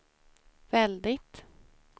väldigt